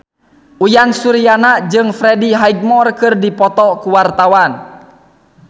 Uyan Suryana jeung Freddie Highmore keur dipoto ku wartawan